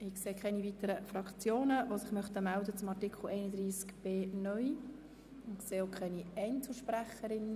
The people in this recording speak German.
Ich sehe keine weiteren Fraktionen, die sich noch zu Artikel 31b (neu) melden möchten.